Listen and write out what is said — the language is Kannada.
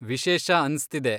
ವಿಶೇಷ ಅನ್ಸ್ತಿದೆ.